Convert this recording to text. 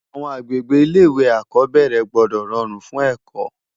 Awòn ágbégbé Ilé iwé ákòbèrè gbòdò ròrún fún èkò